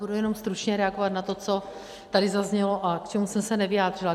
Budu jenom stručně reagovat na to, co tady zaznělo a k čemu jsem se nevyjádřila.